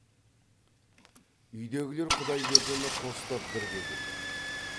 үйдегілер құдайбердіні қостап бірге күлді